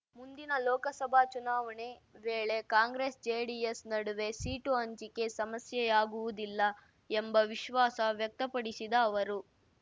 ಮುಂದಿನ ಲೋಕಸಭಾ ಚುನಾವಣೆ ವೇಳೆ ಕಾಂಗ್ರೆಸ್‌ಜೆಡಿಎಸ್‌ ನಡುವೆ ಸೀಟು ಹಂಚಿಕೆ ಸಮಸ್ಯೆಯಾಗುವುದಿಲ್ಲ ಎಂಬ ವಿಶ್ವಾಸ ವ್ಯಕ್ತಪಡಿಸಿದ ಅವರು